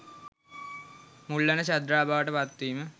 මුල් වන ශ්‍රද්ධාව බවට පත්වීම